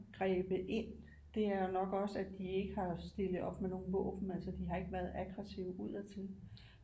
Grebet ind det er jo nok også at de ikke har stillet op med nogle våben altså de har ikke været aggresive udadtil